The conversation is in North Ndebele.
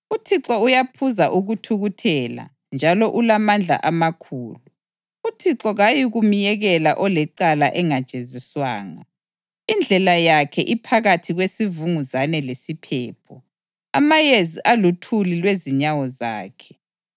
UThixo uyaphuza ukuthukuthela njalo ulamandla amakhulu; uThixo kayikumyekela olecala engajeziswanga. Indlela yakhe iphakathi kwesivunguzane lesiphepho, amayezi aluthuli lwezinyawo zakhe.